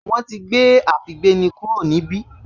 Wọ́n ti gbé àfígbéni kúrò níbí